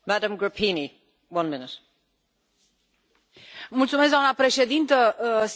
Doamnă președintă, stimați colegi, sigur, a fost un raport foarte complicat.